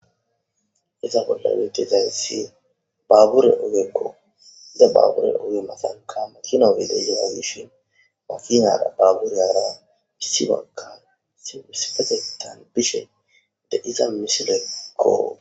Izza bolla betezayssi baabure ogekko he baabure ogge mathanka makino ogge de'zza mishako he makinay baabureyara issipekka issippetethan bishe deiza misilekko.